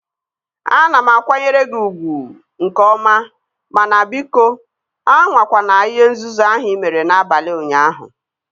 Ana m akwanyere gị ugwu nke ọma mana biko, anwakwana ihe nzuzu ahụ ị mere n'abalị ụnyaahụ